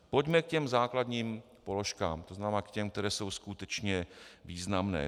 Pojďme k těm základním položkám, to znamená k těm, které jsou skutečně významné.